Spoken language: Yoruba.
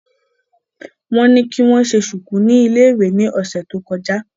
Wọ́n ní kí wọ́n ṣe ṣùkú ní iléèwé ni ọ̀sẹ̀ tó kọjá